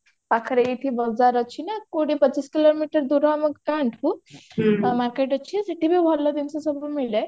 ପାଖରେ ଏଇଠି ବଜାର ଅଛି ନା କୋଡିଏ ପଚିଶ କିଲୋମିଟର ଦୂର ଆମ ଗାଁଠୁ market ଅଛି ସେଠି ବି ଭଲ ଜିନିଷ ସବୁ ମିଳେ